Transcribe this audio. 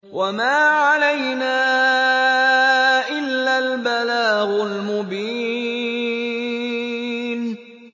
وَمَا عَلَيْنَا إِلَّا الْبَلَاغُ الْمُبِينُ